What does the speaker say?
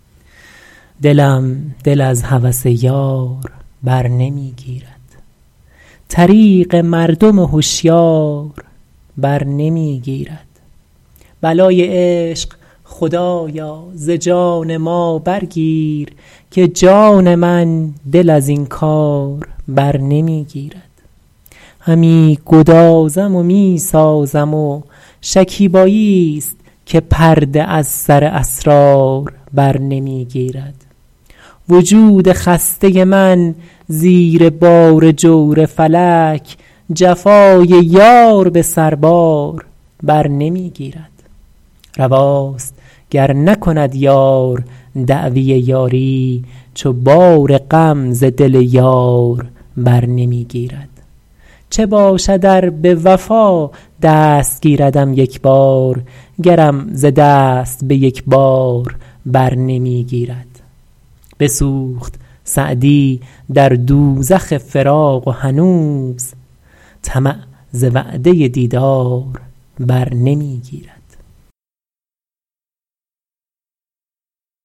دلم دل از هوس یار بر نمی گیرد طریق مردم هشیار بر نمی گیرد بلای عشق خدایا ز جان ما برگیر که جان من دل از این کار بر نمی گیرد همی گدازم و می سازم و شکیباییست که پرده از سر اسرار بر نمی گیرد وجود خسته من زیر بار جور فلک جفای یار به سربار بر نمی گیرد رواست گر نکند یار دعوی یاری چو بار غم ز دل یار بر نمی گیرد چه باشد ار به وفا دست گیردم یک بار گرم ز دست به یک بار بر نمی گیرد بسوخت سعدی در دوزخ فراق و هنوز طمع ز وعده دیدار بر نمی گیرد